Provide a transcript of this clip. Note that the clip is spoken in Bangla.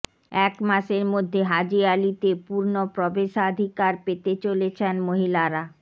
এক মাসের মধ্যে হাজি আলিতে পূর্ণ প্রবেশাধিকার পেতে চলেছেন মহিলারা